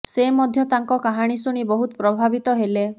ସେ ମଧ୍ୟ ତାଙ୍କ କାହାଣୀ ଶୁଣି ବହୁତ ପ୍ରଭାବିତ ହେଲେ